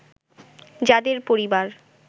যাদের পরিবার